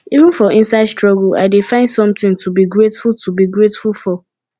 even for inside struggle i dey find something to be grateful to be grateful for